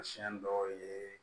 Siɲɛ dɔw ye